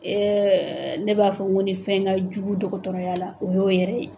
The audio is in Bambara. ne b'a fɔ ko ni fɛn ka jugu dɔgɔtɔrɔya la o y'o yɛrɛ ye.